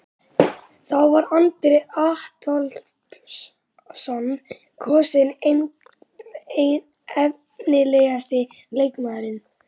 Þá var Andri Adolphsson kosinn efnilegasti leikmaðurinn.